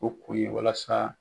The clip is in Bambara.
O kun ye walasa.